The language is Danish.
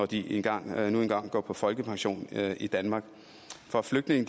de engang går på folkepension i danmark for flygtninge